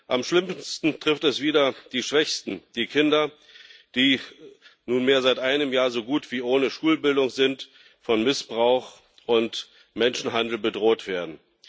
Am schlimmsten trifft es wieder die Schwächsten die Kinder, die nunmehr seit einem Jahr so gut wie ohne Schulbildung sind und von Missbrauch und Menschenhandel bedroht werden.